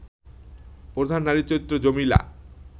প্রধান নারী চরিত্র জমিলা